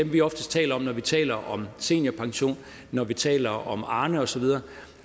vi oftest taler om når vi taler om seniorpension når vi taler om arne osv